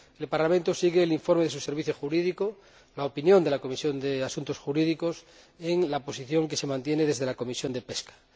El Parlamento sigue el informe de su Servicio Jurídico, la opinión de la Comisión de Asuntos Jurídicos, en la posición que se mantiene desde la Comisión de Pesca.